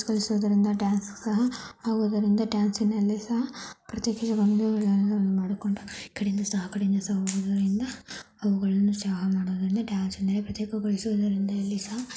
ಆಗುವುದರಿಂದ ಡಾನ್ಸ್‌ನಲ್ಲಿ ಸಹ